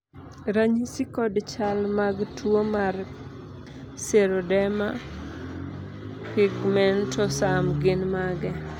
ranyisi kod chal mag tuo mar Xeroderma pigmentosum gin mage?